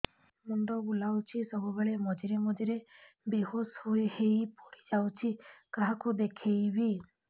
ମୁଣ୍ଡ ବୁଲାଉଛି ସବୁବେଳେ ମଝିରେ ମଝିରେ ବେହୋସ ହେଇ ପଡିଯାଉଛି କାହାକୁ ଦେଖେଇବି